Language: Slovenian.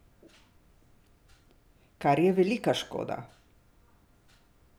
Kar je velika škoda.